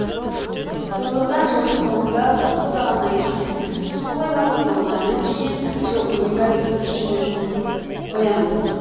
сондықтан жылдың соңында су тоқтағаннан кейін су қоймасы толғаннан кейін жыл он екі ай су жіберіп қоямыз